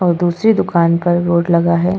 और दूसरी दुकान पर वोट लगा है।